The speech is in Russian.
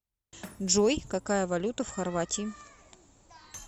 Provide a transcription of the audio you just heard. джой какая валюта в хорватии